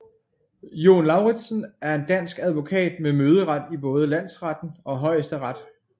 Jon Lauritzen er en dansk advokat med møderet i både Landsretten og Højesteret